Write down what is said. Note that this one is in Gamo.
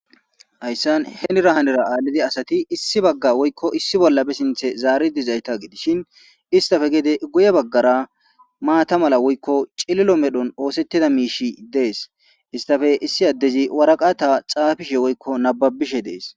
Haysani henira hanira alidi asit issi Baga woyko issi bolla be sinthe zari dizaysa gidishn istappe gede guye bagara maata mala woyko cililo medhoni oosetida miishiy desi. Istappe issi adezi waraqata xaafishe woyko nababishe desi.